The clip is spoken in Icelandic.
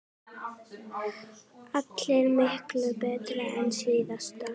Allar miklu betri en síðast!